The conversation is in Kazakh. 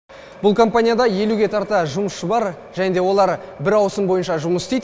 бұл компанияда елуге тарта жұмысшы бар және де олар бір ауысым бойынша жұмыс істейді